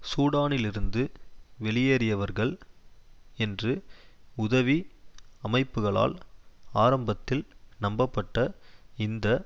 சூடானிலிருந்து வெளியேறியவர்கள் என்று உதவி அமைப்புக்களால் ஆரம்பத்தில் நம்பப்பட்ட இந்த